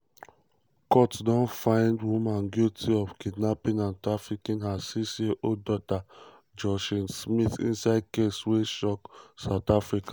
court don find woman guilty of kidnapping and trafficking her six-year-old daughter joshlin smith inside case wey shock south africa.